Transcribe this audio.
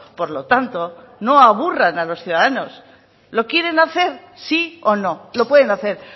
por lo tanto no aburran a los ciudadanos lo quieren hacer si o no lo pueden hacer